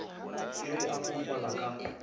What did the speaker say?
ke ge a foufala ka